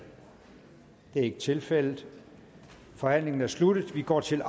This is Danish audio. det er ikke tilfældet forhandlingen er sluttet og vi går til